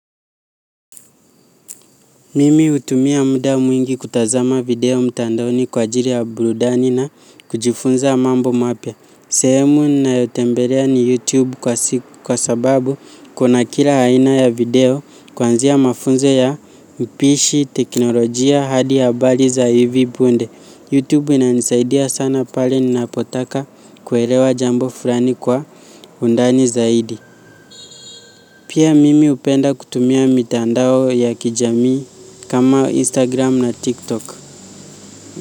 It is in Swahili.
Mimi utumia muda mwingi kutazama video mtandoni kwa ajiri ya burudani na kujifunza mambo mapya. Sehemu ninayotembelea ni YouTube kwa sababu kuna kila aina ya video kwanzia mafunzo ya mpishi teknolojia hadi habali za hivi punde. YouTube inanisaidia sana pale ninapotaka kuelewa jambo fulani kwa undani zaidi. Pia mimi upenda kutumia mitandao ya kijamii kama Instagram na TikTok.